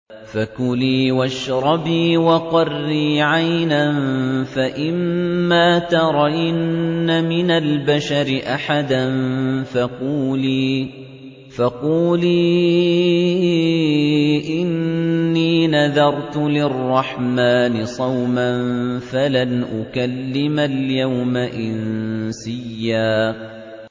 فَكُلِي وَاشْرَبِي وَقَرِّي عَيْنًا ۖ فَإِمَّا تَرَيِنَّ مِنَ الْبَشَرِ أَحَدًا فَقُولِي إِنِّي نَذَرْتُ لِلرَّحْمَٰنِ صَوْمًا فَلَنْ أُكَلِّمَ الْيَوْمَ إِنسِيًّا